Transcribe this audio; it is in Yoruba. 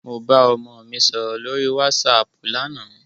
Mo bá ọmọ mi sọ̀rọ̀ lórí wásaàpù lánàá.